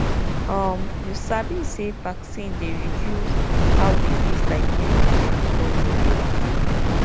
um you sabi say vaccine dey reduce reduce how disease like measles and polio dey waka